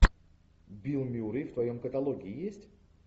билл мюррей в твоем каталоге есть